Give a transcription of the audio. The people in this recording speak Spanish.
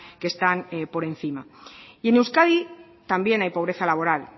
que están por encima y en euskadi también hay pobreza laboral